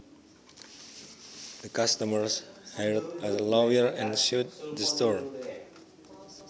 The customers hired a lawyer and sued the store